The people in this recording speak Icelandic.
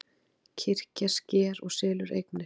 Kirkjan sker og selur eignir